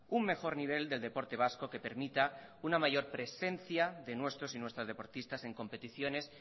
un mejor nivel del deporte vasco que permita una mayor presencia de nuestros y nuestras deportistas en competiciones